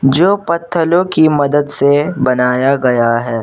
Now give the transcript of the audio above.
जो पत्थलों की मदद से बनाया गया है।